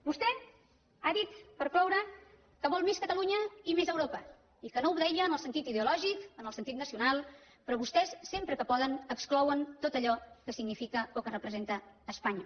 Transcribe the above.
vostè ha dit per cloure que vol més catalunya i més europa i que no ho deia en el sentit ideològic en el sentit nacional però vostès sempre que poden exclouen tot allò que significa o que representa espanya